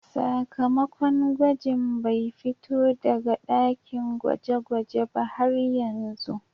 Sakamakon gwajin bai fito daga dakin gweje-gwaje ba har yanzu.